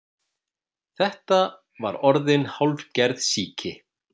Þetta var orðin hálfgerð sýki.